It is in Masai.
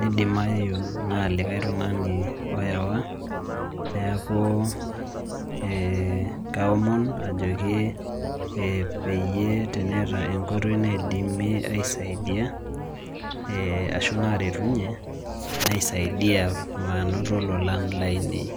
nidimayu nalikae tung'ani oyawa, neeku eh kaomon ajoki peyie teneeta enkoitoi naidimi aisaidia, ashu naretunye, naisaidia manoto lolana lainei.